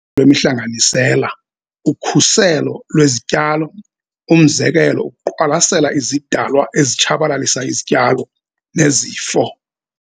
lwemihlanganisela, ukhuselo lwezityalo, umzekelo, ukuqwalasela izidalwa ezitshabalalisa izityalo nezifo.